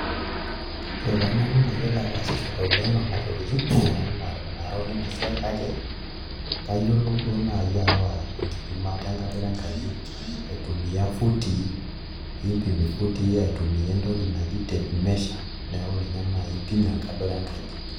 Ore taa nanu mayilo ataasishore oleng' nena tokitin amu mara olina siai kayiolou duo naai aawa enkipimata enkadoro enkaji aitumia footii niipim ifootii aitumia entoki naji tape measure, neeku ninye naai impimie enkadoro enkaji.